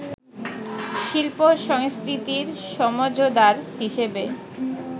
শিল্প-সংস্কৃতির সমঝদার হিসেবে